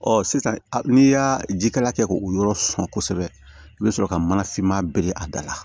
Ɔ sisan n'i y'a jikala kɛ k'o yɔrɔ sama kosɛbɛ i bɛ sɔrɔ ka mana fman bilen a da la